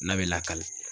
N'a bɛ lakale